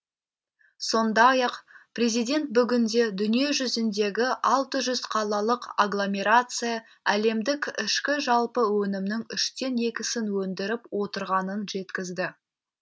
сондай ақ президент бүгінде дүниежүзіндегі алты жүз қалалық агломерация әлемдік ішкі жалпы өнімнің үштен екісін өндіріп отырғанын жеткізді